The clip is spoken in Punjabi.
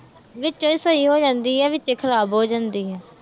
ਵਿੱਚੇ ਸਹੀ ਹੋ ਜਾਂਦੀ ਆ, ਵਿੱਚੇ ਖਰਾਬ ਹੋ ਜਾਂਦੀ ਆ।